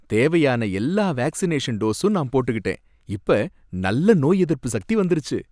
தேவையான எல்லா வேக்சினேஷன் டோசும் நான் போட்டுகிட்டேன். இப்ப நல்ல நோய் எதிர்ப்பு சக்தி வந்துடுச்சு.